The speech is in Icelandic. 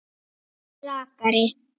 Gaui rakari.